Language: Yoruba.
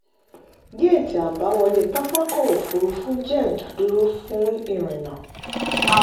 géétì àbáwọlé pápákọ̀ òfurufú jẹ́ ìdádúró fún ìrìnnà.